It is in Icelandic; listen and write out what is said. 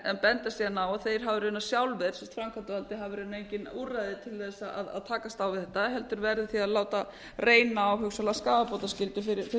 en benda síðan á að þeir hafi raunar sjálfir framkvæmdarvaldið hafi raunar engin úrræði til þess að takast á við þetta heldur verði því að láta reyna á hugsanlega skaðabótaskyldu fyrir